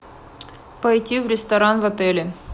пойти в ресторан в отеле